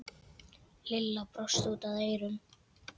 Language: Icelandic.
Lilla brosti út að eyrum.